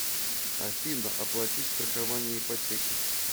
афина оплатить страхование ипотеки